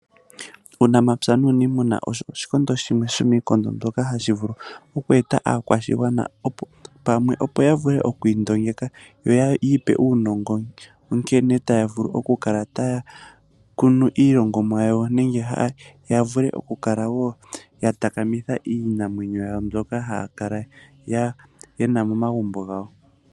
Uunamapya nuunimuna osho oshikondo shimwe sho miikondo shoka hashi vulu oku eta aakwashigwana pamwe, opo ya vule oku indongeka, yo ya ipe uunongo nkene taya vulu okukala taya kunu iilongomwa yawo, nenge ya vule okukala wo ya takamitha iinamwenyo yawo mbyoka haya kala yena momagumbo gawo.